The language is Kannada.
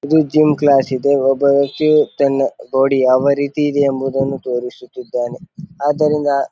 ಇದು ಜಿಮ್ ಕ್ಲಾಸ್ ಇದೆ. ಒಬ್ಬ ವ್ಯಕ್ತಿಯು ತನ್ನ ಬಾಡಿ ಯಾವ ರೀತಿ ಇದೆ ಎಂಬುವುದನ್ನು ತೋರಿಸುತ್ತಿದ್ದಾನೆ ಆದ್ದರಿಂದ --